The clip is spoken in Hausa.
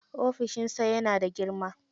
Ofishin sa yana da girma.